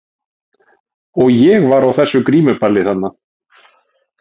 Og ég var á þessu grímuballi þarna.